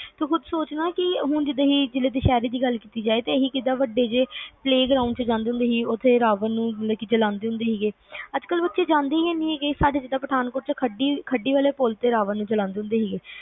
ਤੂੰ ਖੁਦ ਸੋਚ ਨਾ ਕਿ ਹੁਣ ਜਦੋਂ ਅਸੀਂ ਦੁਸਹਿਰੇ ਦੀ ਗੱਲ ਕੀਤੀ ਤਾ ਅਸੀਂ ਵੱਡੇ ਜੇ playground ਚ ਜਾਂਦੇ ਸੀਗੇ ਰਾਵਣ ਨੂੰ ਜਲਾਂਦੇ ਸੀਗੇ ਅੱਜ ਕੱਲ ਉਹ ਚੀਜ਼ ਆਂਦੀ ਨੀ ਹੈਗੀ ਸਾਡੇ ਜਿਵੇ ਪਠਾਨਕੋਟ ਚ ਖੱਡੀ ਵਾਲੇ ਪੁੱਲ ਤੇ ਰਾਵਣ ਨੂੰ ਜਲਾਂਦੇ ਸੀਗੇ